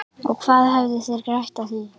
Og hvað hefðu þeir grætt á því?